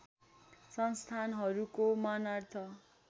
संस्थानहरूको मानार्थ